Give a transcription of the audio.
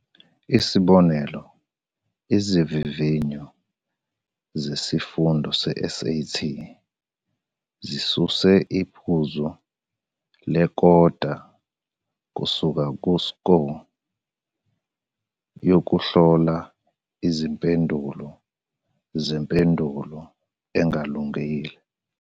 Isibonelo, izivivinyo zesifundo se-SAT zisuse iphuzu lekota kusuka ku-Score yokuhlola izimpendulo zempendulo engalungile.